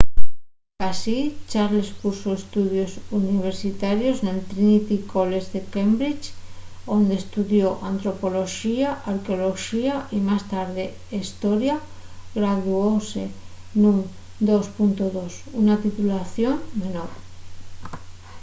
sicasí charles cursó estudios universitarios nel trinity college de cambridge onde estudió antropoloxía y arqueoloxía y más tarde hestoria; graduóse nun 2:2 una titulación menor